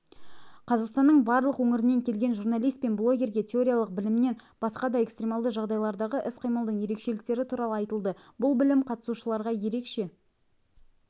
қазақстанның барлық өңірінен келген журналист пен блогерге теориялық білімінен басқа да экстремалды жағдайлардағы іс-қимылдың ерекшеліктері туралы айтылды бұл білім қатысушыларға ерекше